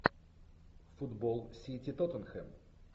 футбол сити тоттенхэм